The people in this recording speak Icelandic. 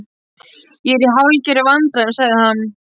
Ég er í hálfgerðum vandræðum sagði hann.